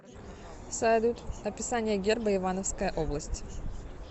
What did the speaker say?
салют описание герба ивановская область